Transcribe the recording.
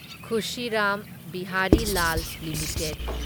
Khushi Ram Bihari Lal limited